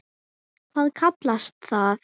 Hvað kallast það?